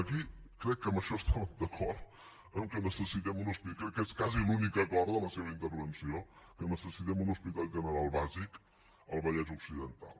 aquí crec que amb això estàvem d’acord que necessitem un hospital i crec que és quasi l’únic acord de la seva intervenció que necessitem un hospital general bàsic al vallès occidental